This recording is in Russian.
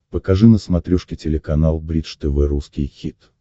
покажи на смотрешке телеканал бридж тв русский хит